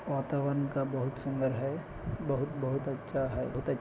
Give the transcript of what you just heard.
वातावरण का बहुत सुंदर है बहुत-बहुत अच्छा है बहुत अच्छा--